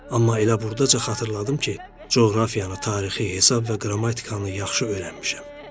Amma elə burdaca xatırladım ki, coğrafiyanı, tarixi, hesab və qrammatikanı yaxşı öyrənmişəm.